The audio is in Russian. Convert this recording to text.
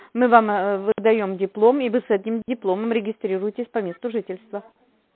мы вам выдаём диплом и вы с этим дипломом регистрируйтесь по месту жительства